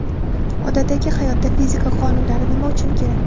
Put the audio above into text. Odatdagi hayotda fizika qonunlari nima uchun kerak?.